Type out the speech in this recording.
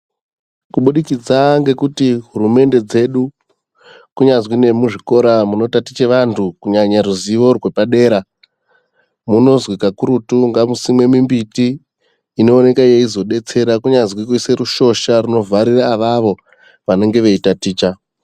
Kubudikidza ngekuti hurumende dzedu kunyazwi nemuzvikora munotaticha vantu kunyanya ruzivo rwepadera munozwi kakurutu ngamusimwe mimbiti inoonekwe yeizodetsera kunyazi kuise rushosha runovharira avavo vanenge veitaticha.